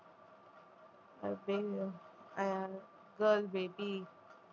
ah girl baby